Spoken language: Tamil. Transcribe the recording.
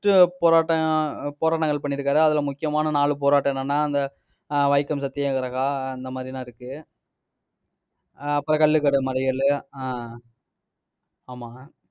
first போராட்டம், போராட்டங்கள் பண்ணியிருக்காரு. அதுல, முக்கியமான நாலு போராட்டம் என்னன்னா, அந்த வைக்கம் சத்தியாகிரகம் அந்த மாதிரி எல்லாம் இருக்கு ஆஹ் அப்புறம், கள்ளுக்கடை மறியலு ஆஹ் ஆமா